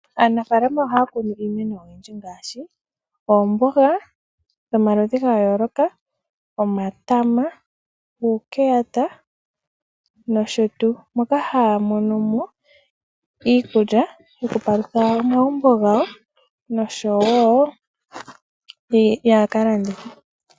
Aanafaalama ohaya kunu iimeno oyindji ngaashi, oomboga dhomaludhi gayooloka, omatama, uukelota, nosho tu, moka haya monomo iikulya yokupalutha omagumbo gawo nosho wo yakaladhithe.